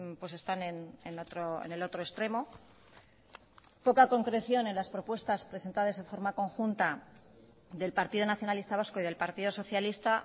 pues están en el otro extremo poca concreción en las propuestas presentadas en forma conjunta del partido nacionalista vasco y del partido socialista